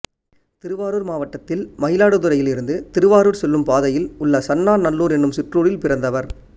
திருவாரூர் மாவட்டத்தில் மயிலாடுதுறையில் இருந்து திருவாரூர் செல்லும் பாதையில் உள்ள சன்னா நல்லூர் என்னும் சிற்றூரில் பிறந்தவர்